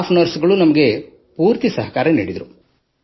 staff ನರ್ಸ್ಗಳು ನಮಗೆ ಸಂಪೂರ್ಣ ಸಹಕಾರ ನೀಡಿದರು